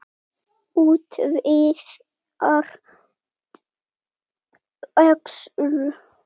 Útvíðar buxur.